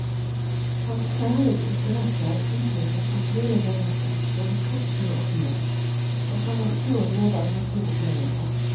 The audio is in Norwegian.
Hans særlige interesse er utvikling av hele mennesket både kroppslig og åndelig, og han har stor glede av naturopplevelser.